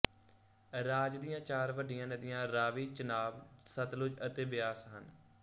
ਰਾਜ ਦੀਆਂ ਚਾਰ ਵੱਡੀਆਂ ਨਦੀਆਂ ਰਾਵੀ ਚਨਾਬ ਸਤਲੁਜ ਅਤੇ ਬਿਆਸ ਹਨ